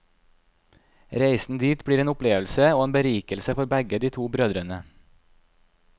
Reisen dit blir en opplevelse og en berikelse for begge de to brødrene.